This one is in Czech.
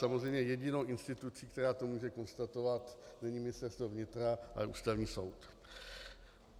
Samozřejmě jedinou institucí, která to může konstatovat, není Ministerstvo vnitra, ale Ústavní soud.